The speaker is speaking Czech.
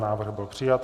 Návrh byl přijat.